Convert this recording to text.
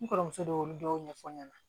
N kɔrɔmuso de y'olu dɔw ɲɛfɔ ɲɛna